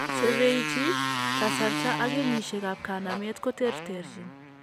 Severity, kasarta ak kenyisiek ab kanamet ko terterchin